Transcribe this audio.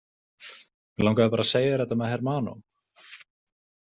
Mig langaði bara að segja þér þetta með hermano.